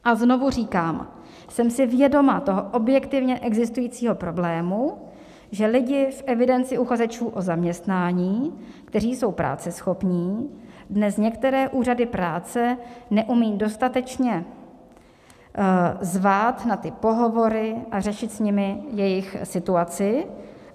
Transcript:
A znovu říkám, jsem si vědoma toho objektivně existujícího problému, že lidi v evidenci uchazečů o zaměstnání, kteří jsou práceschopní, dnes některé úřady práce neumějí dostatečně zvát na ty pohovory a řešit s nimi jejich situaci.